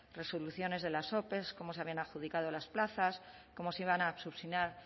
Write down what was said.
resoluciones de las ope cómo se habían adjudicado las plazas cómo se iban a